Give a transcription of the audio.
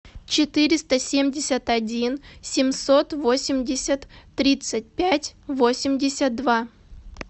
четыреста семьдесят один семьсот восемьдесят тридцать пять восемьдесят два